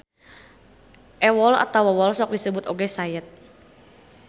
Ewol atawa wol sok disebut oge sayet.